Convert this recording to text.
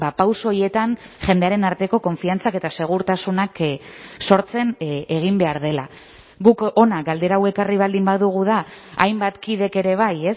pauso horietan jendearen arteko konfiantzak eta segurtasunak sortzen egin behar dela guk hona galdera hau ekarri baldin badugu da hainbat kidek ere bai